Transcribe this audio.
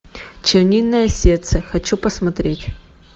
чернильное сердце хочу посмотреть